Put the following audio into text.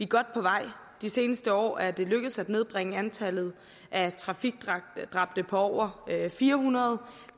godt på vej de seneste år er det lykkedes at nedbringe antallet af trafikdræbte fra over fire hundrede